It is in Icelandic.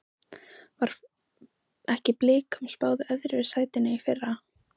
Var ekki Blikum spáð öðru sætinu í fyrra?